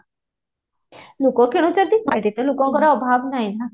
ଲୋକ କିଣୁଛନ୍ତି ଅଧେ ଅଧେ ଲୋକଙ୍କର ଅଭାବ ନାହିଁ ନା